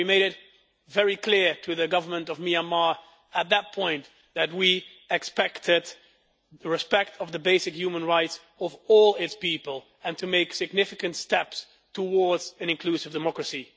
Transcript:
We made it very clear to the Government of Myanmar at that point that we expected respect for the basic human rights of all its people, and for it to make significant steps towards an inclusive democracy.